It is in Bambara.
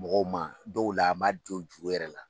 Mɔgɔw ma dɔw la a ma don juru yɛrɛ la